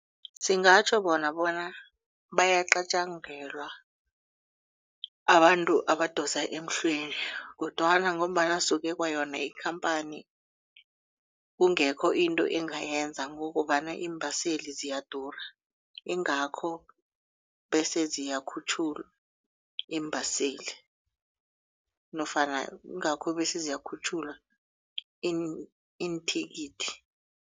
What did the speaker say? Singatjho bona bona bayacatjangelwa abantu abadosa emhlweni kodwana ngombana suke kwayona ikhamphani kungekho into engayenza ngokobana iimbaseli ziyadura. Ingakho bese ziyakhutjhulwa iimbaseli nofana ingakho bese ziyakhutjhulwa iinthikithi.